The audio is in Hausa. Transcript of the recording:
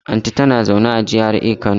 Anti ta na zaune a GRA a kano